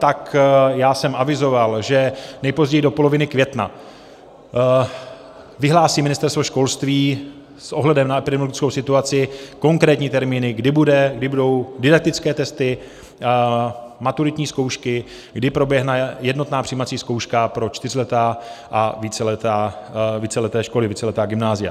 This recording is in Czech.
Tak já jsem avizoval, že nejpozději do poloviny května vyhlásí Ministerstvo školství s ohledem na epidemiologickou situaci konkrétní termíny, kdy budou didaktické testy maturitní zkoušky, kdy proběhne jednotná přijímací zkouška pro čtyřleté a víceleté školy, víceletá gymnázia.